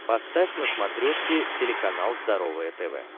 поставь на смотрешке телеканал здоровое тв